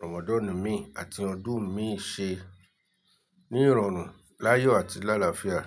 Ramadan mi àti ọdún mi ṣe ní ìrọ̀rùn, láyọ̀ àti láàlàáfíà.